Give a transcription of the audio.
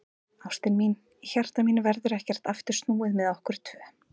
Ástin mín, í hjarta mínu verður ekkert aftur snúið með okkur tvö.